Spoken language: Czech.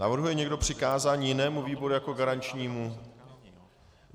Navrhuje někdo přikázání jinému výboru jako garančnímu?